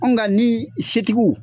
Ɔ nka ni setigiw